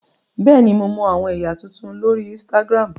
Bẹẹni, Mo mọ awọn ẹya tuntun lori Instagram.